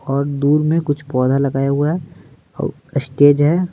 और दूर में कुछ पौधा लगाया हुआ है और स्टेज है।